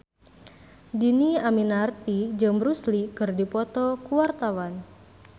Dhini Aminarti jeung Bruce Lee keur dipoto ku wartawan